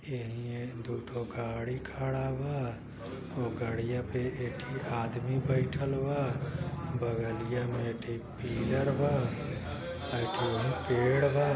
एहि हे दुठो गाड़ी खड़ा बा। वो गाड़िया पे इक्थि आदमी बइठल बा। बगलिया में एक ठे पिलर बा एक ठे पेड़ बा।